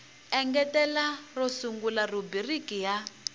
engetela ro sungula rhubiriki yo